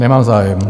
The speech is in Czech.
Nemám zájem.